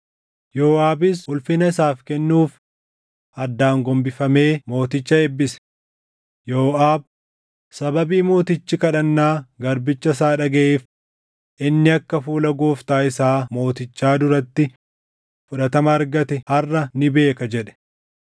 Yooʼaabis ulfina isaaf kennuuf addaan gombifamee mooticha eebbise. Yooʼaab, “Sababii mootichi kadhannaa garbicha isaa dhagaʼeef inni akka fuula gooftaa isaa mootichaa duratti fudhatama argate harʼa ni beeka” jedhe.